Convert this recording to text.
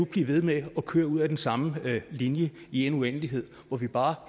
blive ved med at køre ud ad den samme linje i en uendelighed hvor vi bare